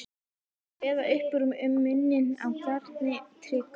Kveða upp úr um muninn á garni og trékubb.